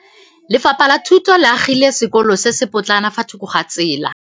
Lefapha la Thuto le agile sekôlô se se pôtlana fa thoko ga tsela.